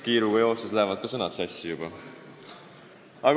Kiiruga lähevad ka sõnad sassi.